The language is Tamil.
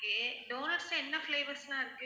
okay donuts ல என்ன flavours லாம் இருக்கு.